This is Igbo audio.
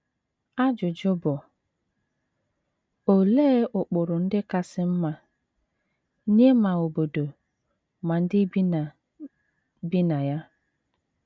Ajụjụ bụ: Olee ụkpụrụ ndị kasị mma, nye ma obodo ma ndị bi na bi na ya?